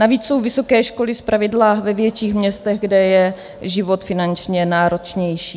Navíc jsou vysoké školy zpravidla ve větších městech, kde je život finančně náročnější.